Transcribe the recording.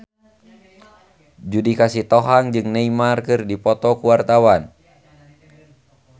Judika Sitohang jeung Neymar keur dipoto ku wartawan